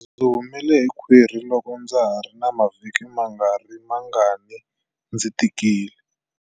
Ndzi humele hi khwiri loko ndza ha ri na mavhiki mangarimangani ndzi tikile.